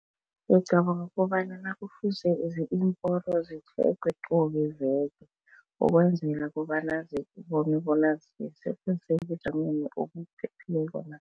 Ngicabanga kobanyana kufuze iimporo zitjhegwe qobe veke ukwenzela kobana bona zisese sebujameni obuphephile na.